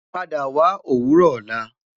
Pada wa owurọ ọla